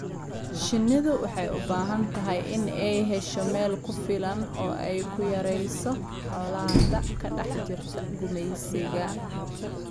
Shinnidu waxay u baahan tahay inay hesho meel ku filan oo ay ku yarayso colaadda ka dhex jirta gumaysiga.